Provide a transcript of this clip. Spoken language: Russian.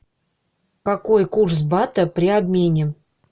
какой курс бата при обмене